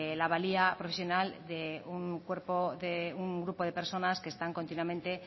la valía profesional de un cuerpo de un grupo de personas que están continuamente